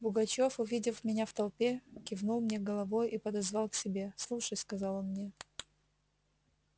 пугачёв увидев меня в толпе кивнул мне головою и подозвал к себе слушай сказал он мне